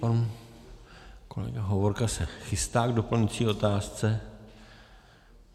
Pan kolega Hovorka se chystá k doplňující otázce.